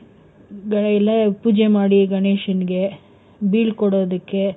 ಎಲ್ಲಾ ಪೂಜೆ ಮಾಡಿ ಗಣೇಶನ್ ಗೆ ಬೀಳ್ಕೊಡೋದಕ್ಕೆ,